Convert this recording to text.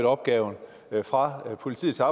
opgaven fra politiet til